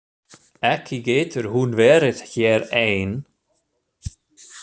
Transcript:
Ekki getur hún verið hér ein.